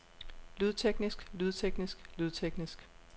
lydteknisk lydteknisk lydteknisk